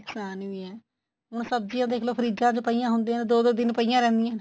ਨੁਕਸਾਨ ਵੀ ਐ ਹੁਣ ਸਬਜੀਆ ਦੇਖਲੋ ਫਰੀਜਾ ਚ ਪਈਆ ਹੁੰਦਿਆ ਦੋ ਦੋ ਦਿਨ ਪਈਆ ਰਹਿੰਦੀਆਂ ਨੇ